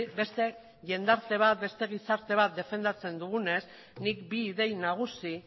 beste jendarte bat beste gizarte bat defendatzen dugunez nik bi idei nagusi